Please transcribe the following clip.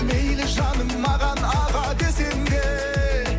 мейлі жаным маған аға десең де